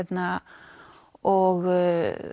og